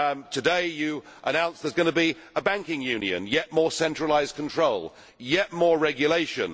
Today you announced that there is going to be a banking union, yet more centralised control, yet more regulation.